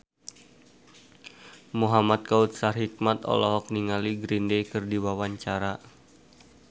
Muhamad Kautsar Hikmat olohok ningali Green Day keur diwawancara